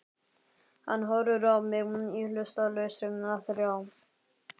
Hann horfir á mig í hlutlausri þrá.